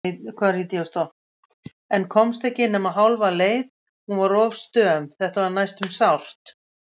En komst ekki nema hálfa leið- hún var of stöm, þetta var næstum sárt.